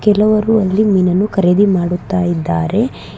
ಕೆಲವರು ಅಲ್ಲಿ ಮೀನನ್ನು ಖರೀದಿ ಮಾಡುತ್ತಾ ಇದ್ದಾರೆ.